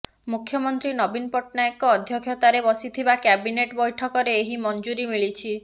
ମୁଖ୍ୟମନ୍ତ୍ରୀ ନବୀନ ପଟ୍ଟନାୟକଙ୍କ ଅଧ୍ୟକ୍ଷତାରେ ବସିଥିବା କ୍ୟାବିନେଟ୍ ବୈଠକରେ ଏହି ମଞ୍ଜୁରୀ ମିଳିଛି